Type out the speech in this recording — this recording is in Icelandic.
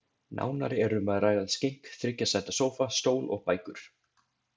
Nánar er um að ræða skenk, þriggja sæta sófa, stól og bækur.